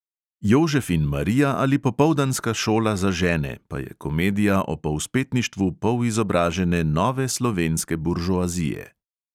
Jožef in marija ali popoldanska šola za žene pa je komedija o povzpetništvu polizobražene nove slovenske buržoazije.